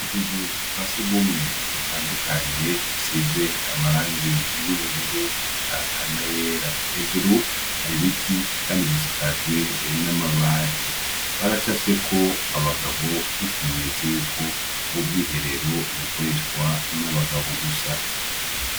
Utuzu twa surwumwe dutandukanye, dusize amarangi y'ubururu, eka n'ayera. Hejuru hari ibiti; kandi dusakajwe n' amabati. Baracafyeko abagabo nk'ikimenyetso y'uko ubwo bwiherero bukoreshwa n'abagabo gusa.